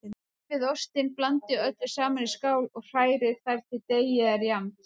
Rífið ostinn, blandið öllu saman í skál og hrærið þar til deigið er jafnt.